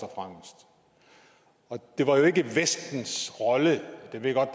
og det var jo ikke vestens rolle jeg ved godt at